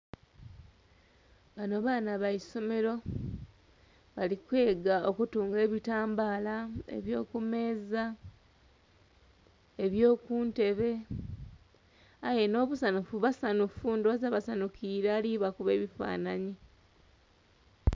Bano baana baisomero, bali kwega okutunga ebitambaala ebyokumeeza, ebyokuntebe, aye nhobusanhufu basanhufu ndoghoza. Ndhoghoza basanhukire ali'bakuba ebifanhanhi.